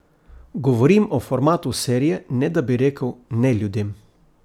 Govorim o formatu serije, ne da bi rekel ne ljudem.